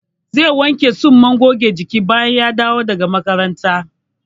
Zai wanke tsumman goge jikin bayan ya dawo daga makaranta?